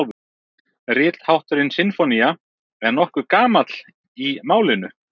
Rithátturinn sinfónía er nokkuð gamall í málinu.